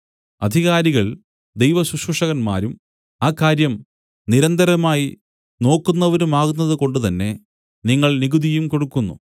അധികാരികൾ ദൈവശുശ്രൂഷകന്മാരും ആ കാര്യം നിരന്തരമായി നോക്കുന്നവരുമാകുന്നതുകൊണ്ടു തന്നെ നിങ്ങൾ നികുതിയും കൊടുക്കുന്നു